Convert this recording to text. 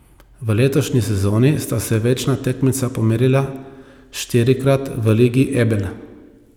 V letošnji sezoni sta se večna tekmeca pomerila štirikrat v Ligi Ebel.